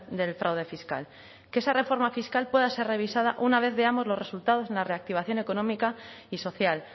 del fraude fiscal que esa reforma fiscal pueda ser revisada una vez veamos los resultados en la reactivación económica y social